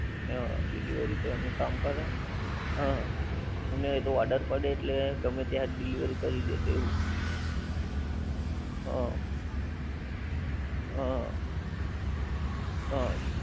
હં delivery તો એમનું કામ કરે. અને એ તો order પડે એટલે ગમે ત્યાં delivery કરી દે એ તો એવું. હં હં. હં.